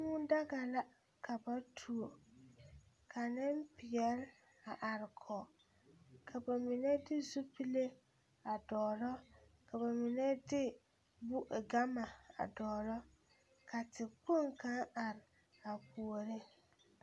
Dɔbɔ la kyɛnɛ ka kaŋa kyaare katawie ka ba vɔgle zupille peɛle a su kparɛɛ naŋ taa bonzeere bonpeɛle ane bonvaare a seɛ kuripeɛle a eŋ nɔɔte peɛle.